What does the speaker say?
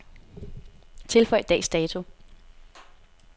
Tilføj dags dato.